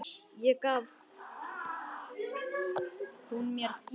Ekki gaf hún mér gítar.